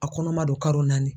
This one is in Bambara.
A kɔnɔma don karo naani.